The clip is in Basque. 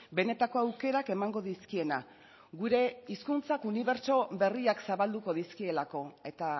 benetako aukerak emango dizkiena gure hizkuntzak unibertso berriak zabalduko dizkielako eta